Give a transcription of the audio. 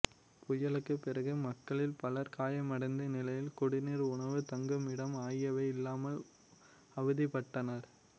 புயலுக்குப் பிறகு மக்களில் பலர் காயமடைந்த நிலையில் குடிநீர் உணவு தங்குமிடம் ஆகியவை இல்லாமல் அவதிப்பட்டனர்